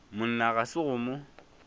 monna ga se go mo